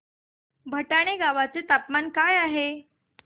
भटाणे गावाचे तापमान काय आहे